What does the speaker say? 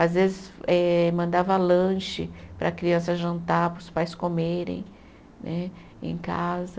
Às vezes, eh mandava lanche para a criança jantar, para os pais comerem né em casa.